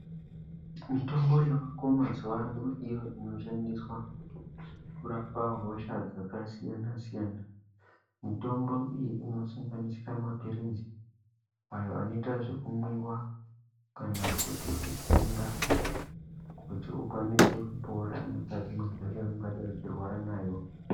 Mitombo yavako mazuwaano iyo inoshandiswa, kurapa hosha, dzakasiyana-siyana. Mitombo iyi inosanganisira maphirizi, ayo anoita zvekumwiwa, kana kuite ekutsengwa ,kuti ukwanise kupora mukati mwehosha yaungadai uchirwara nayo.